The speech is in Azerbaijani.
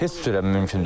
Heç cürə mümkün deyil.